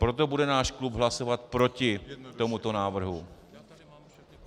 Proto bude náš klub hlasovat proti tomuto návrhu.